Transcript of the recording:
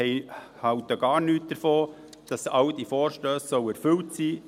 Wir halten gar nichts davon, dass alle diese Vorstösse erfüllt seien.